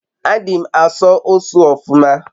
adi m n'aso usu ofuma